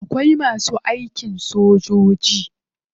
Akwai masu aikin sojoji.